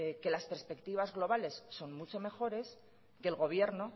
que las perspectivas globales son mucho mejores que el gobierno